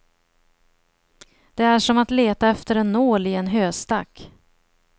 Det är som att leta efter en nål i en höstack.